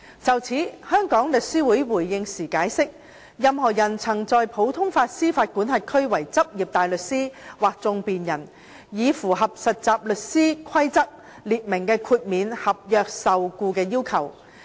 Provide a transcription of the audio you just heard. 就此，香港律師會回應時解釋，任何人曾在普通法司法管轄區為執業大律師或訟辯人，已符合《實習律師規則》列明的豁免合約受僱的要求。